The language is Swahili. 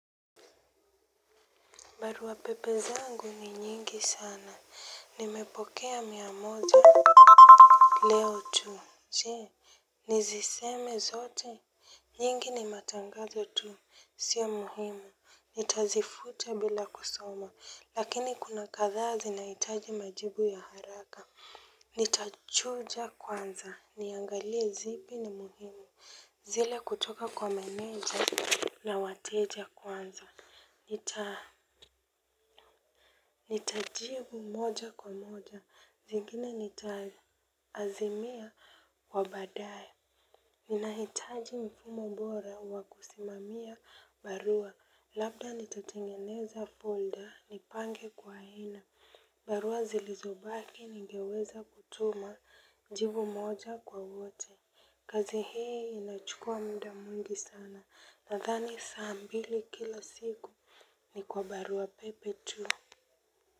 Barua pepe zangu ni nyingi sana. Nimepokea mia moja leo tu. Chee. Niziseme zote. Nyingi ni matangazo tu. Sio muhimu. Nitazifuta bila kusoma. Lakini kuna kadhaa zinaitaji majibu ya haraka. Nitachuja kwanza. Niangalie zipi ni muhimu. Zile kutoka kwa meneja na wateja kwanza. Nitajibu moja kwa moja, zingine nitaazimia kwa baadae. Ninahitaji mfumo bora wa kusimamia barua, labda nitatengeneza folder, nipange kwa hina. Barua zilizobaki ningeweza kutuma, jibu moja kwa wote. Kazi hii inachukua muda mwingi sana, nadhani saa mbili kila siku ni kwa barua pepe tu.